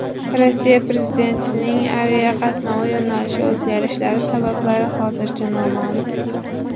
Rossiya prezidentining aviaqatnovi yo‘nalishi o‘zgarishlari sabablari hozircha noma’lum.